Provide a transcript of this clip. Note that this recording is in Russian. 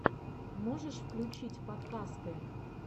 можешь включить подкасты